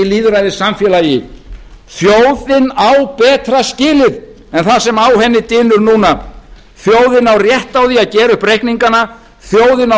lýðræðissamfélagi þjóðin á betra skilið en það sem á henni dynur núna þjóðin á rétt á því að gera upp reikningana þjóðin á